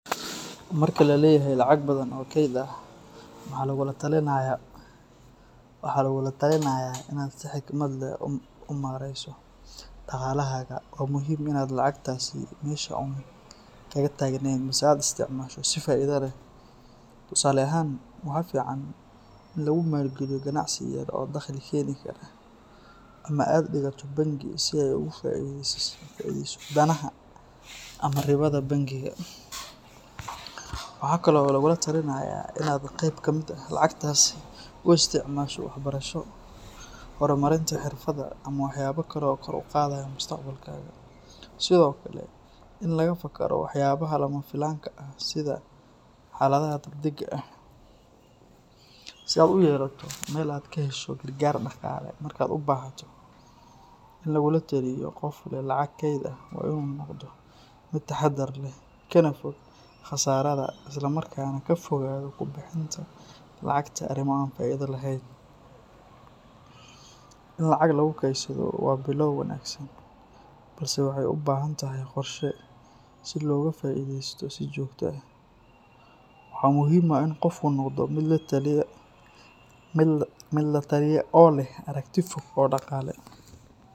Marka la leeyahay lacag badan oo keyd ah maxaa lagula taliyaa, waxaa lagugula talinayaa in aad si xikmad leh u maareyso dhaqaalahaaga. Waa muhiim in aan lacagtaasi meesha uun kaga taagnayn, balse aad isticmaasho si faa’iido leh. Tusaale ahaan, waxaa fiican in lagu maalgeliyo ganacsi yar oo dakhli keeni kara ama aad dhigato bangi si ay ugu faa’iideyso danaha ama ribada bangiga. Waxaa kale oo lagula talinayaa in aad qayb ka mid ah lacagtaasi u isticmaasho waxbarasho, horumarinta xirfadaha, ama waxyaabo kale oo kor u qaadaya mustaqbalkaaga. Sidoo kale, in laga fakaro waxyaabaha lama filaanka ah sida xaaladaha degdegga ah, si aad u yeelato meel aad ka hesho gargaar dhaqaale marka aad u baahato. In lagula taliyo qof leh lacag keyd ah waa in uu noqdo mid taxadar leh, kana fog khasaarada, isla markaana ka fogaado ku bixinta lacagta arrimo aan faa’iido lahayn. In lacag lagu kaydsado waa bilow wanaagsan, balse waxay u baahan tahay qorshe si looga faa’iideysto si joogto ah. Waxaa muhiim ah in qofku noqdo mid la taliya oo leh aragti fog oo dhaqaale.